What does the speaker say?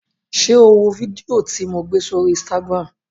Ṣé o wo fídíò tí lo gbé sórí Instagram?